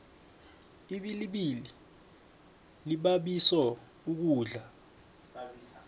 ibilibili libabiso ukudla